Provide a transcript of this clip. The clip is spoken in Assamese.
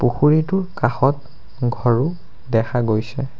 পুখুৰীটোৰ কাষত ঘৰও দেখা গৈছে।